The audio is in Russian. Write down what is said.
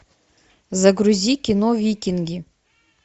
загрузи кино викинги